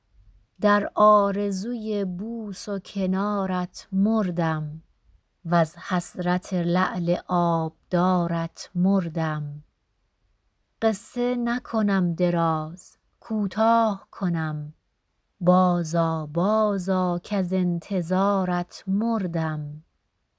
در آرزوی بوس و کنارت مردم وز حسرت لعل آبدارت مردم قصه نکنم دراز کوتاه کنم بازآ بازآ کز انتظارت مردم